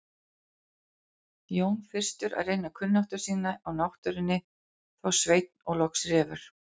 Jón fyrstur að reyna kunnáttu sína á náttúrunni, þá Sveinn og loks Refur.